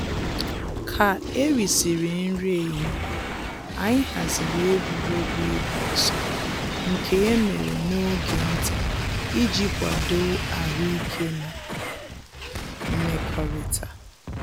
Ka e risịrị nri ehihie, anyị haziri egwuregwu ịgba ọsọ nke e mere n'oge nta iji kwadoo ahụ ike na mmekọrịta